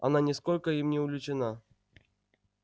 она ни сколько им не увлечена